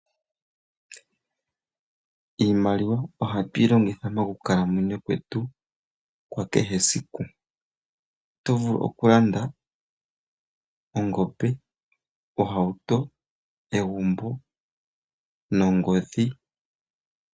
Iimaliwa ohatu yi longitha mokukalamwenyo kwetu kwa kehe esiku. Oto vulu oku landa ongombe, ohauto, egumbo nongodhi.